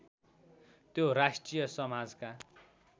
त्यो राष्ट्रिय समाजका